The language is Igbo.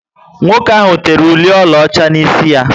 Nwoke ahụ tere ụli ọlaọcha n'isi ya